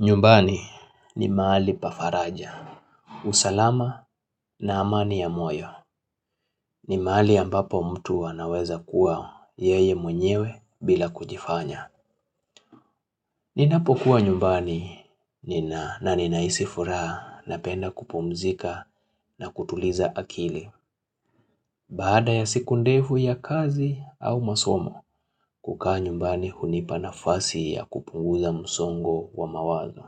Nyumbani ni mahali pa faraja, usalama na amani ya moyo, ni mahali ambapo mtu anaweza kuwa yeye mwenyewe bila kujifanya Ninapokua nyumbani na ninahisi furaha napenda kupumzika na kutuliza akili Baada ya siku ndefu ya kazi au masomo, kukaa nyumbani hunipa nafasi ya kupunguza msongo wa mawazo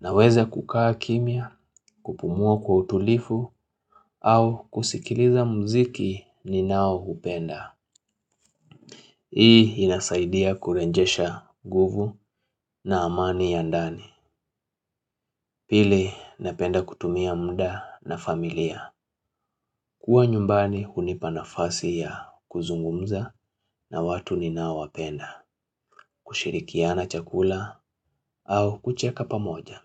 Naweza kukaa kimya, kupumua kwa utulivu au kusikiliza muziki ninaoupenda. Hii inasaidia kurejesha nguvu na amani ya ndani. Pili napenda kutumia muda na familia. Kua nyumbani hunipa nafasi ya kuzungumza na watu ninao wapenda. Kushirikiana chakula au kucheka pamoja.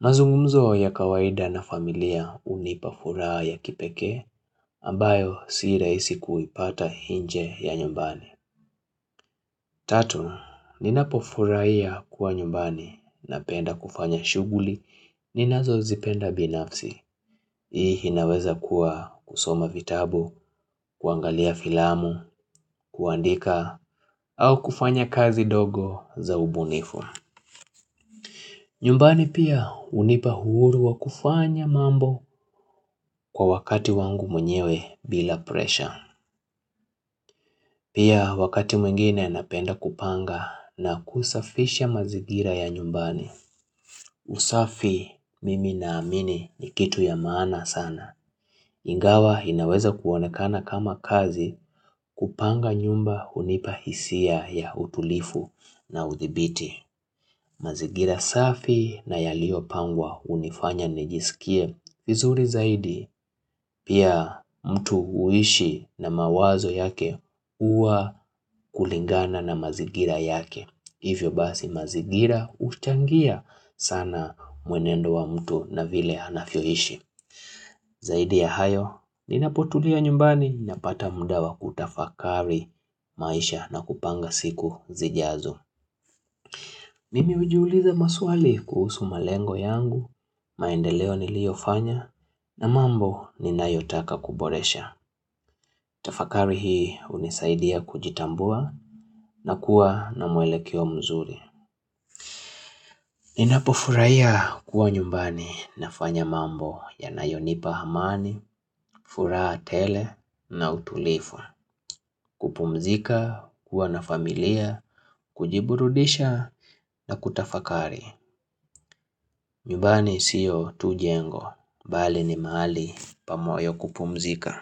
Mazungumzo ya kawaida na familia hunipa furaha ya kipekee ambayo si rahisi kuipata nje ya nyumbani. Tatu, ninapofurahia kuwa nyumbani na penda kufanya shughuli ninazozipenda binafsi. Hii inaweza kuwa kusoma vitabu, kuangalia filamu, kuandika au kufanya kazi ndogo za ubunifu. Nyumbani pia hunipa uhuru wa kufanya mambo kwa wakati wangu mwenyewe bila pressure. Pia wakati mwengine napenda kupanga na kusafisha mazingira ya nyumbani. Usafi mimi naamini ni kitu ya maana sana. Ingawa inaweza kuonekana kama kazi kupanga nyumba hunipa hisia ya utulivu na udhibiti mazingira safi na yaliopangwa hunifanya nijisikie. Vizuri zaidi pia mtu huishi na mawazo yake huwa kulingana na mazingira yake. Hivyo basi mazingira huchangia sana mwenendo wa mtu na vile anavyoishi. Zaidi ya hayo, ninapotulia nyumbani napata muda wa kutafakari maisha na kupanga siku zijazo. Mimi hujiuliza maswali kuhusu malengo yangu, maendeleo niliyofanya na mambo ninayotaka kuboresha. Tafakari hii hunisaidia kujitambua na kuwa na mwelekeo mzuri. Ninapofurahiya kuwa nyumbani nafanya mambo yanayonipa amani, furaha tele na utulivu kupumzika, kuwa na familia, kujiburudisha na kutafakari nyumbani siyo tu jengo, bali ni mahali pa moyo kupumzika.